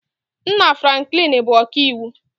Nna Franklin bụ ọkaiwu